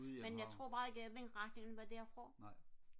Gudhjem havn ne